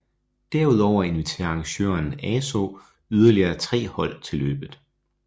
Derudover inviterer arrangøren ASO yderlige tre hold til løbet